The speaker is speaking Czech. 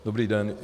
Dobrý den.